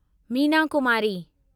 Meena Kumari